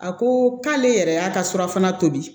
A ko k'ale yɛrɛ y'a ka surafana tobi